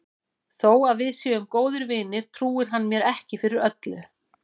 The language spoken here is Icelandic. Þó að við séum góðir vinir trúir hann mér ekki fyrir öllu.